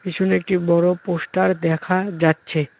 পিছনে একটি বড় পোস্টার দেখা যাচ্ছে।